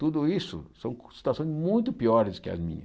Tudo isso são situações muito piores que as minhas.